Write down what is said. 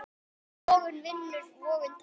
Vogun vinnur, vogun tapar.